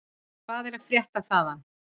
Hvað er að frétta þaðan?